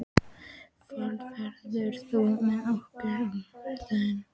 Fold, ferð þú með okkur á mánudaginn?